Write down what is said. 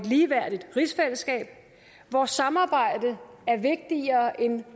ligeværdigt rigsfællesskab hvor samarbejdet er vigtigere end